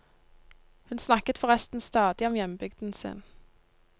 Hun snakket forresten stadig om hjembygden sin.